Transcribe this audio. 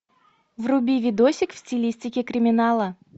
вруби видосик в стилистике криминала